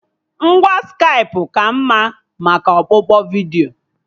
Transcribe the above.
Ngwa Skaipụ ka mma maka ọkpụkpọ vidiyo